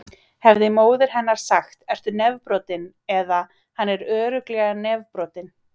Hefði móðir hennar sagt: Ertu nefbrotinn? eða: Hann er örugglega nefbrotinn.